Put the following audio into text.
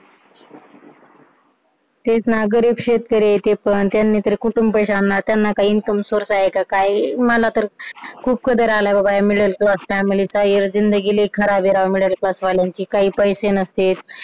तेच ना गरीब शेतकरी आहे ते पण त्यांनी तर कुठून पैशे आणणार त्यांना काही income source आहे का काय मला तर खूप कदर आलाय बाबा या middle class family चा यार जिंदगी फार खराब आहे राव middle class वाल्यांची काही पैसे नसते